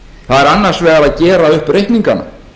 það er annars vegar að gera upp reikningana